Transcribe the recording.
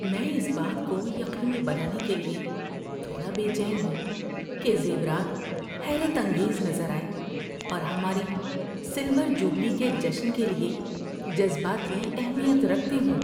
میں اس بات کو یقینی بنانے کے لیے تھوڑا بے چین ہوں کہ زیورات حیرت انگیز نظر آئیں اور ہماری سلور جوبلی کے جشن کے لیے جذباتی اہمیت رکھتے ہوں۔